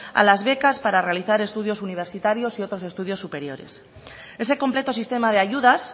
a las becas para realizar estudios universitarios u otros estudios superiores ese completo sistema de ayudas